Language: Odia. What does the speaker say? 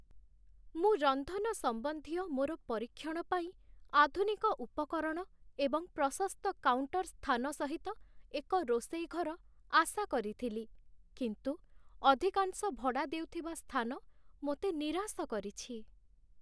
ମୁଁ ରନ୍ଧନ ସମ୍ବନ୍ଧୀୟ ମୋର ପରୀକ୍ଷଣ ପାଇଁ ଆଧୁନିକ ଉପକରଣ ଏବଂ ପ୍ରଶସ୍ତ କାଉଣ୍ଟର୍ ସ୍ଥାନ ସହିତ ଏକ ରୋଷେଇ ଘର ଆଶା କରିଥିଲି, କିନ୍ତୁ ଅଧିକାଂଶ ଭଡ଼ା ଦେଉଥିବା ସ୍ଥାନ ମୋତେ ନିରାଶ କରିଛି